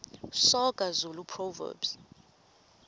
soga zulu proverbs